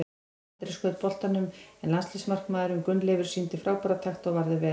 Andri skaut boltanum en landsliðsmarkmaðurinn Gunnleifur sýndi frábæra takta og varði vel.